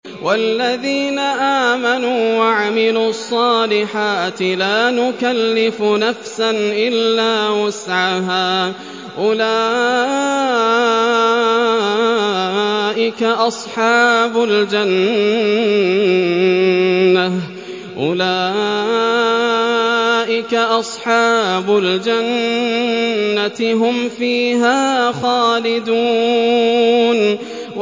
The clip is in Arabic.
وَالَّذِينَ آمَنُوا وَعَمِلُوا الصَّالِحَاتِ لَا نُكَلِّفُ نَفْسًا إِلَّا وُسْعَهَا أُولَٰئِكَ أَصْحَابُ الْجَنَّةِ ۖ هُمْ فِيهَا خَالِدُونَ